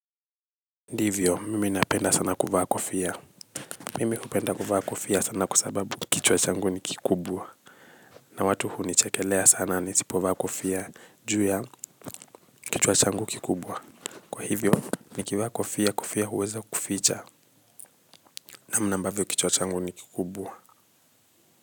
Ndivyo, mimi napenda sana kufaa kofia. Mimi hupenda kuvaa kofia sana lwa sababu kichwa changu ni kikubwa. Na watu hunichekelea sana nisipovaa kofia, ju ya kichwa changu kikubwa. Kwa hivyo, nikivaa kofia kofia huweza kuficha. Namna ambavyo kichwa changu ni kikubwa.